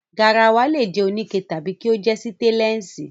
Garawa lè jẹ́ oníke tàbí kí ó jẹ́ sítéńlẹ̀sì.